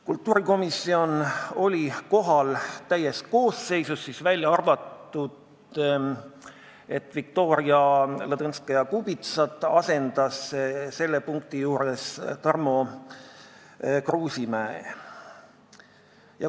Kultuurikomisjon oli kohal täies koosseisus, ainult Viktoria Ladõnskaja-Kubitsat asendas selle punkti arutelul Tarmo Kruusimäe.